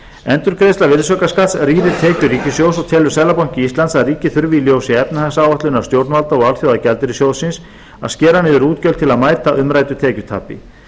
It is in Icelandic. endurgreiðsla virðisaukaskatts rýrir tekjur ríkissjóðs og telur seðlabanki íslands að ríkið þurfi í ljósi efnahagsáætlunar stjórnvalda og alþjóðagjaldeyrissjóðsins að skera niður útgjöld til að mæta umræddu tekjutapi